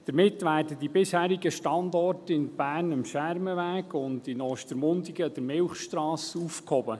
Damit werden die bisherigen Standorte in Bern am Schermenweg und in Ostermundigen an der Milchstrasse aufgehoben.